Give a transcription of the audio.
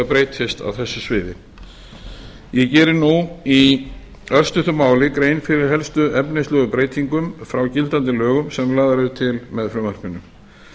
breytist á þessu sviði ég geri nú í örstuttu mál grein fyrir helstu efnislegu breytingum frá gildandi lögum sem lagaðar eru til með frumvarpinu